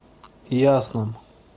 ясном